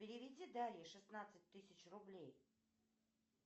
переведи дарье шестнадцать тысяч рублей